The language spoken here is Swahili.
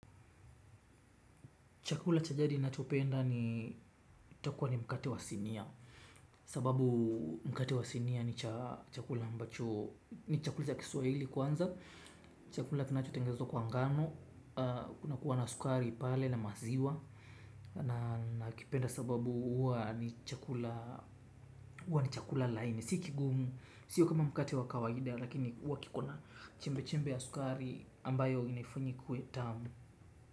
Chakula cha jadi nachopenda ni utakuwa ni mkate wa sinia. Sababu mkate wa sinia ni chakula ambacho ni chakula cha Kiswahili kwanza chakula kinachotengenezwa kwa ngano, kunakuwa na sukari pale na maziwa. Nakipenda sababu huwa ni chakula laini. Si kigumu, sio kama mkate wa kawaida, lakini huwa kikona chembe chembe ya sukari ambayo inaifanya ikuwe tamu.